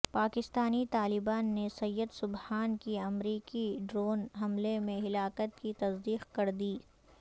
پاکستانی طالبان نے سید سجنا کی امریکی ڈرون حملے میں ہلاکت کی تصدیق کر دی